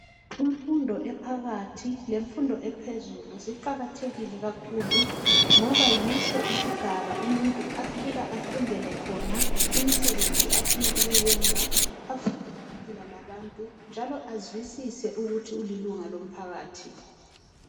Imfundo ephakathi lemfundo ephezulu ziqakathekile kahlulu ngoba yiso isigaba umuntu afika afundele khona imisebenzi afuna ukuyenza, afunde lokuphila labantu njalo azwisise ukuthi ulilunga lomphakathi.